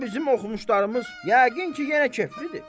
Bu da bizim oxumuşlarımız yəqin ki, yenə keflidir.